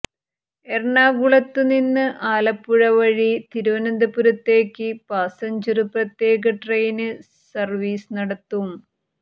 എറണാകുളത്തു നിന്ന് ആലപ്പുഴ വഴി തിരുവനന്തപുരത്തേക്ക് പാസഞ്ചര് പ്രത്യേക ട്രെയിന് സര്വീസ് നടത്തും